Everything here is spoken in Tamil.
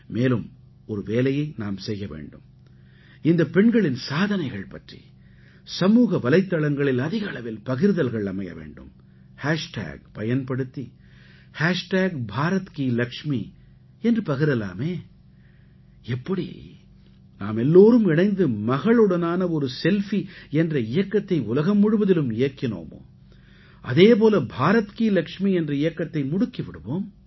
மேலும் ஒரு வேலையை நாம் செய்ய வேண்டும் இந்தப் பெண்களின் சாதனைகள் பற்றி சமூக வலைத்தளங்களில் அதிக அளவில் பகிர்தல்கள் அமைய வேண்டும் ஹேஷ்டேக் பயன்படுத்தி பாரத்கிலக்ஷ்மி என்று பகிரலாமே எப்படி நாமெல்லாரும் இணைந்து மகளுடனான ஒரு செல்ஃபி என்ற இயக்கத்தை உலகம் முழுவதிலும் இயக்கினோமோ அதே போல பாரத் கீ லக்ஷ்மீ என்ற இயக்கத்தை முடுக்கி விடுவோம்